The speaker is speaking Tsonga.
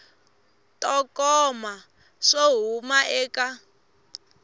to koma swo huma eka